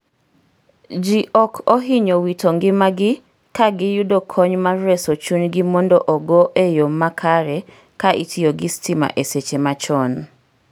ji ok ohinyo wito ngimagi ka giyudo kony mar reso chuny gi mondo ogo e yo makare ka itiyo gi stima e seche ma chon